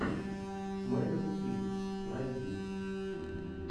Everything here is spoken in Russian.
мерил стрип найди